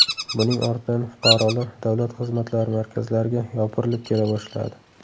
Buning ortidan fuqarolar Davlat xizmatlari markazlariga yopirilib kela boshladi.